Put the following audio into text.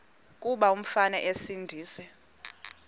kuba umfana esindise